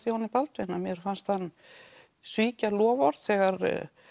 Jóni Baldvin að mér fannst hann svíkja loforð þegar